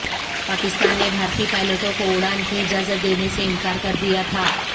پاکستان نے بھارتی پائلٹوں کو اڑان کی اجازت دینے سے انکار کر دیا تھا